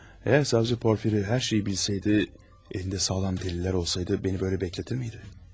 Əgər savcı Porfiri hər şeyi bilsəydi, əlində sağlam dəlillər olsaydı məni belə gözlədirmiydi?